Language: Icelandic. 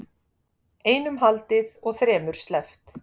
Einum haldið og þremur sleppt